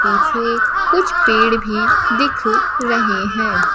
पीछे कुछ पेड़ भी दिख रहे हैं।